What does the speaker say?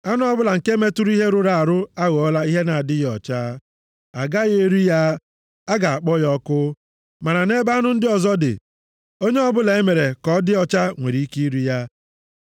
“ ‘Anụ ọbụla nke metụrụ ihe rụrụ arụ aghọọla ihe na-adịghị ọcha. A gaghị eri ya. A ga-akpọ ya ọkụ. Ma nʼebe anụ ndị ọzọ dị, onye ọbụla e mere ka ọ dị ọcha nwere ike iri ya.